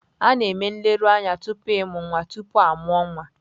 A na-eme nleruanya tupu ịmụ nwa tupu a mụọ nwa.